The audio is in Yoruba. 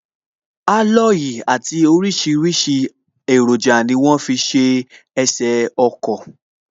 Aloyi àti orisirisi eroja ni wọ́n fi ṣe ẹsè ọkọ̀